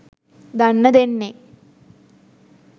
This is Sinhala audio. දන්න දෙන්නෙක්